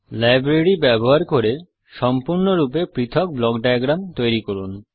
লাইব্রেরির ব্যবহার করে সম্পূর্ণরূপে পৃথক ব্লক ডায়াগ্রাম তৈরি করুন